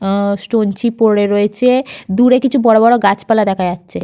আহ stone chip পড়ে রয়েছে। দূরে কিছু বড়বড় গাছপালা দেখা যাচ্ছে।